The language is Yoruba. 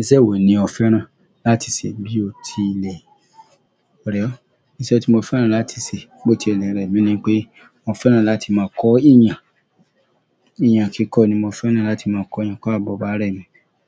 Ìṣe wo ni o fẹ́ràn láti ṣe bí o ti ilẹ̀? Kore o iṣẹ́ tí mo fẹ́ràn láti ṣe bio tele remi nipe, mo fẹ́ràn láti ma kọ èyán eyan kikọ ni mo fẹ́ràn láti ma kọ eyan. Kọ́ àbọ̀ ba rẹ̀ mi